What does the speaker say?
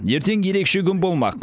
ертең ерекше күн болмақ